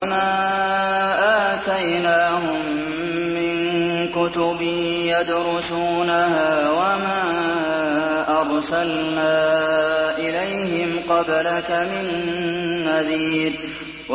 وَمَا آتَيْنَاهُم مِّن كُتُبٍ يَدْرُسُونَهَا ۖ وَمَا أَرْسَلْنَا إِلَيْهِمْ قَبْلَكَ مِن نَّذِيرٍ